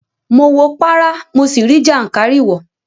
Mo wo párá, mo sì rí jàǹkáríwòọ́.